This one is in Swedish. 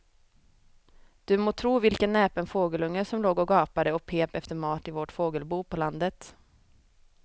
Du må tro vilken näpen fågelunge som låg och gapade och pep efter mat i vårt fågelbo på landet.